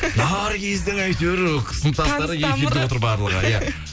наргиздің әйтеуір сыныптастары эфирде отыр барлығы иә